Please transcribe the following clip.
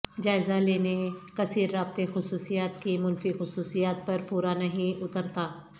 جائزہ لینے کثیر رابطے خصوصیات کی منفی خصوصیات پر پورا نہیں اترتا